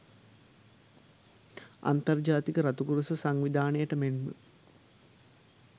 අන්තර් ජාතික රතුකරුස සංවිධානයට මෙන්ම